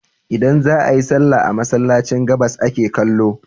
Idan za a yi sallah a Masallacin, gabas ake kallo.